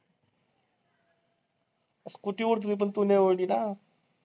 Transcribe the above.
Scooty उडत होती पण तू नाही उडली ना?